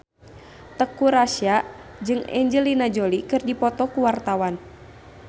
Teuku Rassya jeung Angelina Jolie keur dipoto ku wartawan